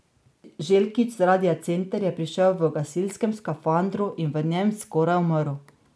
Željkić z radia Center je prišel v gasilskem skafandru in v njem skoraj umrl.